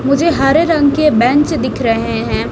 मुझे हरे रंग के बैंच दिख रहे हैं।